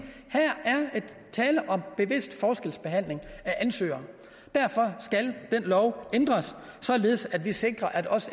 at tale om bevidst forskelsbehandling af ansøgere derfor skal den lov ændres således at vi sikrer at